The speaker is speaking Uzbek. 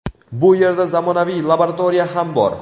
Bu yerda zamonaviy laboratoriya ham bor.